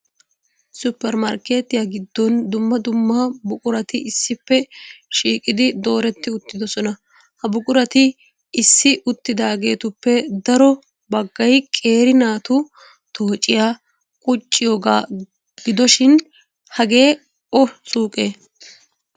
Supper markketiya giddon dumma dumm.a buqurati issippe shiiqidi dooretri uttidoosona. Ha buqurati issi uttidaaheetuppe daro baggay qeeri naatu toocciya qucciyooga gidoshin hagee o suuqee?